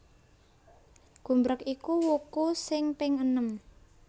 Gumbreg iku wuku sing ping enem